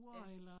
Ja